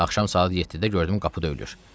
Axşam saat 7-də gördüm qapı döyülür.